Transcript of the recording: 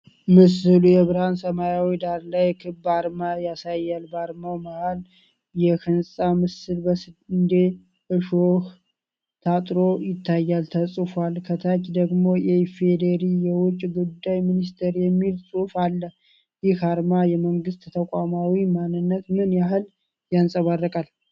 ምስሉ የብርሃን ሰማያዊ ዳራ ላይ ክብ አርማ ያሳያል፤ በአርማው መሃል የህንጻ ምስል በስንዴ እሾህ ታጥሮ ይታያል፤ ተጽፏል፣ ከታች ደግሞ "የኢ.ፌ.ዲ.ሪ የውጭ ጉዳይ ሚኒስቴር" የሚል ጽሑፍ አለ። ይህ አርማ የመንግስትን ተቋማዊ ማንነት ምን ያህል ያንጸባርቃል?